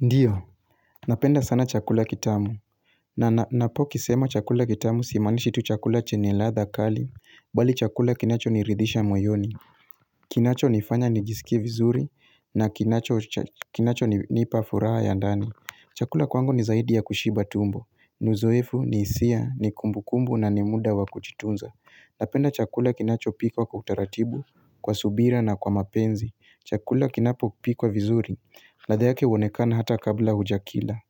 Ndiyo, napenda sana chakula kitamu na ninapo kisema chakula kitamu simanishi tu chakula chenye ladha kali Bali chakula kinacho niridhisha moyoni Kinacho nifanya nijisikie vizuri na kinacho kinacho nipa furaha ya ndani. Chakula kwangu ni zaidi ya kushiba tumbo ni uzoefu ni hisia ni kumbukumbu na ni muda wa kujitunza. Napenda chakula kinachopikwa kwa utaratibu, Kwa subira na kwa mapenzi. Chakula kinapopikwa vizuri ladha yake huonekana hata kabla huja kila.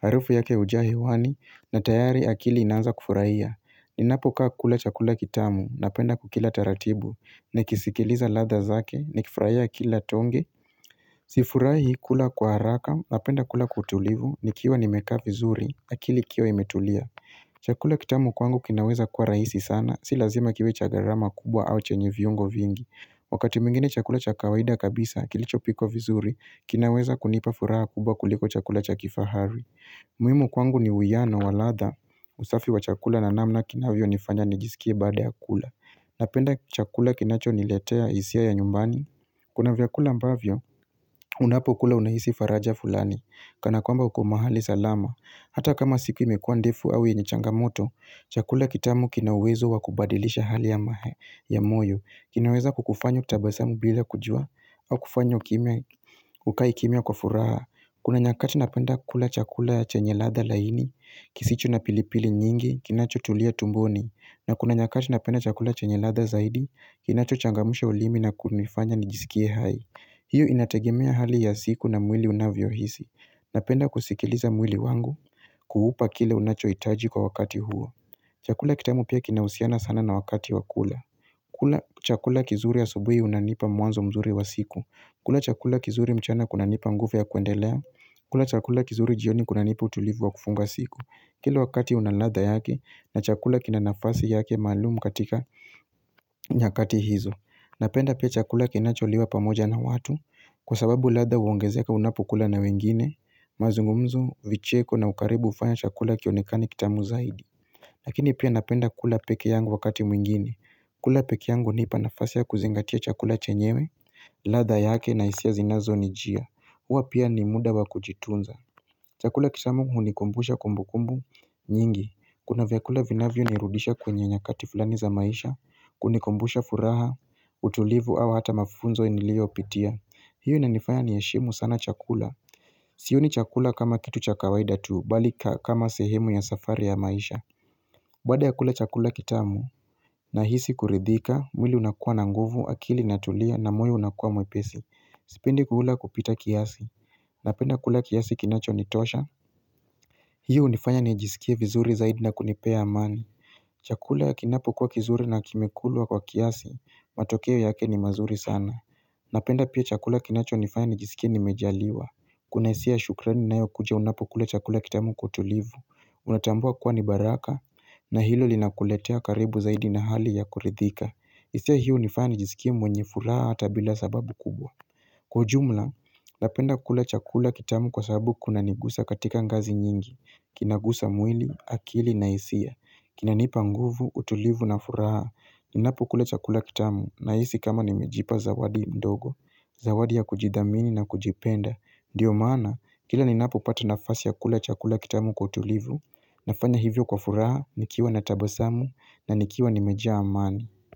Harufu yake hujaa hewani na tayari akili inaanza kufurahia. Ninapokaa kula chakula kitamu napenda kukila taratibu, nikisikiliza ladha zake, nikifurahia kila tonge. Sifurahi kula kwa haraka napenda kula kwa utulivu nikiwa nimekaa vizuri, akili ikiwa imetulia. Chakula kitamu kwangu kinaweza kuwa rahisi sana, si lazima kiwe cha gharama kubwa au chenye viungo vingi. Wakati mwingine chakula cha kawaida kabisa, kilicho pikwa vizuri, kinaweza kunipa furaha kubwa kuliko chakula cha kifahari. Muhimu kwangu ni uwiano wa ladha, usafi wa chakula na namna kinavyonifanya nijisikie baada ya kula. Napenda chakula kinacho niletea hisia ya nyumbani. Kuna vyakula ambavyo, unapokula unahisi faraja fulani, kana kwamba uko mahali salama. Hata kama siku imekuwa ndefu au yenye changamoto, chakula kitamu kina uwezo wa kubadilisha hali ya moyo. Kinaweza kukufanya utabasamu bila kujua au kufanya ukae kimia kwa furaha Kuna nyakati napenda kula chakula chenye ladha laini kisicho na pilipili nyingi Kinachotulia tumboni na kuna nyakati napenda chakula chenye ladha zaidi Kinacho changamsha ulimi na kunifanya nijisikie hai. Hiyo inategimia hali ya siku na mwili unavyo hisi Napenda kusikiliza mwili wangu Kuhupa kile unachohitaji kwa wakati huo Chakula kitamu pia kinahusiana sana na wakati wa kula. Kula chakula kizuri ya asubuhi unanipa mwanzo mzuri wa siku. Kula chakula kizuri mchana kunanipa nguvu ya kuendelea. Kula chakula kizuri jioni kunanipa utulivu wa kufunga siku. Kila wakati una ladha yake na chakula kina nafasi yake malumu katika nyakati hizo. Napenda pia chakula kinacholiwa pamoja na watu kwa sababu ladha huongezeaka unapokula na wengine. Mazungumzo, vicheko na ukaribu hufanya chakula kionekane kitamu zaidi. Lakini pia napenda kula peke yangu wakati mwingine. Kula peke yangu hunipa nafasi ya kuzingatia chakula chenyewe, ladha yake na hisia zinazonijia. Hua pia ni muda wa kujitunza. Chakula kitamu hunikumbusha kumbukumbu nyingi. Kuna vyakula vinavyo ni rudisha kwenye nyakati fulani za maisha, kunikumbusha furaha, utulivu au hata mafunzo niliyopitia. Hiyo inanifaya niheshimu sana chakula. Sioni chakula kama kitu cha kawaida tu bali kama sehemu ya safari ya maisha. Baada ya kula chakula kitamu, nahisi kuridhika, mwili unakuwa na nguvu, akili inatulia, na moyo unakua mwepesi. Sipendi kuula kupita kiasi. Napenda kula kiasi kinachonitosha. Hiyo hunifanya ni jisikie vizuri zaidi na kunipea amani. Chakula kinapo kuwa kizuri na kimekulwa kwa kiasi, matokeo yake ni mazuri sana. Napenda pia chakula kinachonifanya nijisikie nimejaliwa. Kuna hisia shukrani inayo kuja unapo kula chakula kitamu kwa utulivu. Unatambua kuwa ni baraka na hilo linakuletea karibu zaidi na hali ya kuridhika hisia hiyo hunifanya nijisikie jisikia mwenye furaha hata bila sababu kubwa Kwa ujumla, napenda kula chakula kitamu kwa sababu kunanigusa katika ngazi nyingi Kinagusa mwili, akili na hisia. Kinanipa nguvu, utulivu na furaha Ninapokula chakula kitamu, nahisi kama nimejipa zawadi mdogo Zawadi ya kujidhamini na kujipenda Ndiyo maana, kila ninapopata nafasi ya kula chakula kitamu kwa utulivu Nafanya hivyo kwa furaha, nikiwa na tabasamu, na nikiwa nimejaa amani.